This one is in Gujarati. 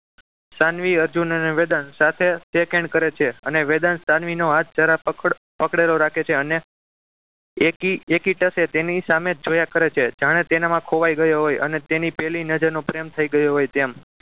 સાનવી અર્જુન અને વેદાંશ સાથે શેખ hand કરે છે અને વેદાંશ સાનવીનો હાથ જરા પકડ પકડેલો રાખે છે અને એકી એકી ટશે તેની સામે જોયા કરે છે જાણે તેનામાં ખોવાઈ ગયો હોય અને તેની પહેલી નજર નો પ્રેમ થઈ ગયો હોય તેમ